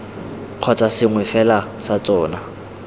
kgotsa sengwe fela sa tsona